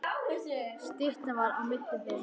Styttan var á milli þeirra.